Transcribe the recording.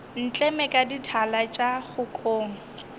ntleme ka dithala tša kgokong